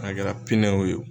A kɛra pinɛw ye wo.